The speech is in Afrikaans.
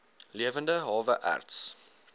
lewende hawe erts